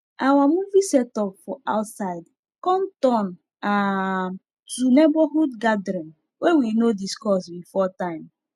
our movie setup for outside come turn um to neighborhood gathering wey we no discuss before time